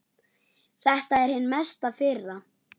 Þetta er hin mesta firra.